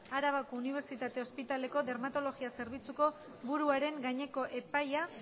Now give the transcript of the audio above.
arabako unibertsitate ospitaleko dermatologia zerbitzuko buruaren gaineko epaia